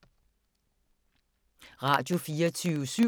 Radio24syv